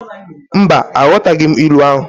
Mba, aghọtaghị m ilu ahụ.